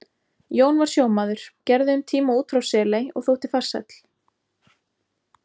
Jón var sjómaður, gerði um tíma út frá Seley og þótti farsæll.